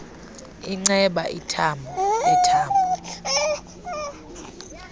inceba ithambo lethambo